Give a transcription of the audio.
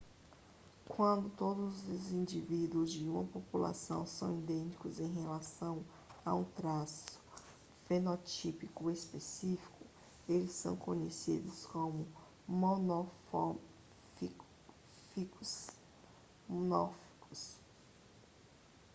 quando todos os indivíduos de uma população são idênticos em relação a um traço fenotípico específico eles são conhecidos como monomórficos